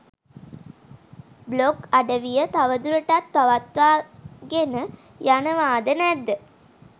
blog අඩවිය තවදුරටත් පවත්වාගෙන යනවාද නැද්ද